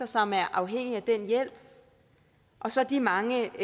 som er afhængige af den hjælp og så de mange